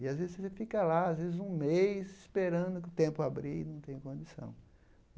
E, às vezes, você fica lá, às vezes, um mês, esperando o tempo abrir e não tem condição.